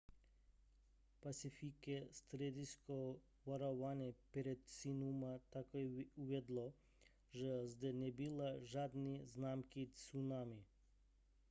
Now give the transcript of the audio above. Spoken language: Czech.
pacifické středisko varování před tsunami také uvedlo že zde nebyly žádné známky tsunami